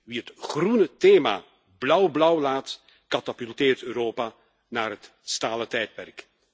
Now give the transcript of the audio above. Wie het groene thema blauwblauw laat, katapulteert Europa naar het stalen tijdperk.